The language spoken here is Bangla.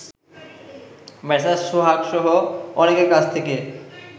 মেসার্স সোহাগসহ অনেকের কাছ থেকে